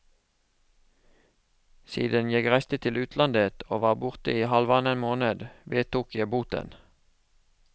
Siden jeg reiste til utlandet og var borte i halvannen måned, vedtok jeg boten.